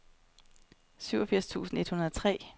syvogfirs tusind et hundrede og tre